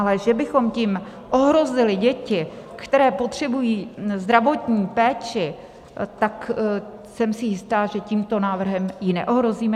Ale že bychom tím ohrozili děti, které potřebují zdravotní péči, tak jsem si jista, že tímto návrhem je neohrozíme.